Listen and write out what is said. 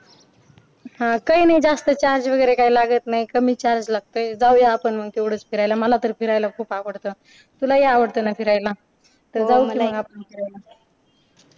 हा काही नाही जास्त charge वगैरे काही लागत नाही कमी charge लागतोय जाऊया आपण मग तेवढच फिरायला मला तर फिरायला खूप आवडतं तुलाही आवडतं ना फिरायला तर जाऊ कि आपण फिरायला